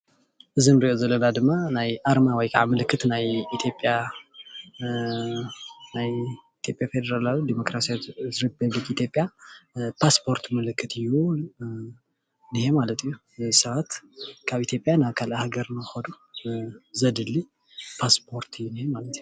እዚ እንሪኦ ዘለና ድማ ናይ ኣርማ ወይ ከዓ ምልክት ናይ ኢትዮጵያ ፌደራልያዊ ዲሞክራስያሪ ሪፐብሊክ ኢትዮጵያ ፓስፖርት ምልክት እዩ፡፡ ሰባት ካብ ኢትዮጵያ ናብ ካልእ ሃገር ንክከዱ ዘድሊ ፓስፖርት እዩ ዝንሄ ማለት እዩ፡፡